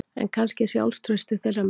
En kannski er sjálfstraustið þeirra megin